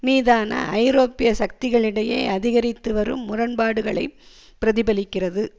மீதான ஐரோப்பிய சக்திகளிடையே அதிகரித்து வரும் முரண்பாடுகளைப் பிரதிபலிக்கிறது